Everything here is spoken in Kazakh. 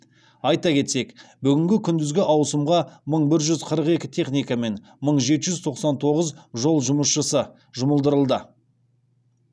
айта кетсек бүгінгі күндізгі ауысымға мың бір жүз қырық екі техника мен мың жеті жүз тоқсан тоғыз жол жұмысшысы жұмылдырылды